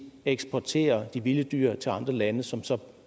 eksportere de vilde dyr til andre lande som så